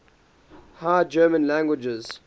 high german languages